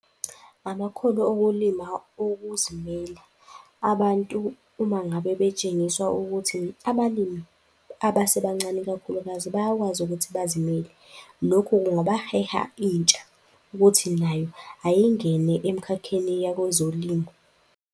Amakhono okulima okuzimela, abantu uma ngabe betshengisiwa ukuthi abalimi abasebancane ikakhulukazi, bayakwazi ukuthi bazimele. Lokhu kungabaheha intsha ukuthi nayo ayingene emkhakheni yakwezolimo.